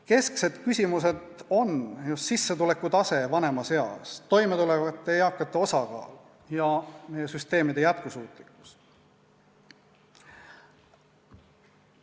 Kesksed küsimused on just sissetuleku tase vanemas eas, toimetulevate eakate osakaal ja meie süsteemide jätkusuutlikkus.